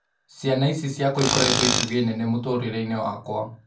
Ciana ici ciakwa ikoretwo itugĩ nene mũtũrĩ reinĩ wakwa.